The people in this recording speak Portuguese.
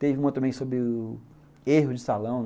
Teve uma também sobre o erro de salão.